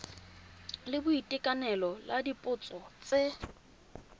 la boitekanelo la dipotso tse